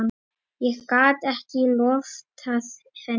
Ég gat ekki loftað henni.